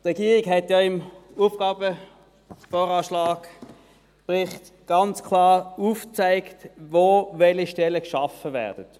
Die Regierung hat im VA-/AFP-Bericht ganz klar aufgezeigt, wo welche Stellen geschaffen werden.